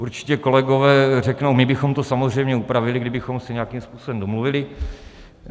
Určitě kolegové řeknou: my bychom to samozřejmě upravili, kdybychom se nějakým způsobem domluvili.